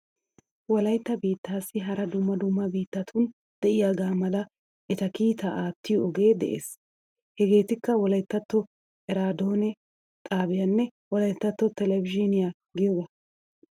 Wolaytta biittaassi hara dumma dumma biittatun diyaga mala eta kiitaa aatiyo ogee de"ees. Hegeetikka wolayttatto eraadoone xaabiyanne wolayttatto televizhiiniya giyogaa.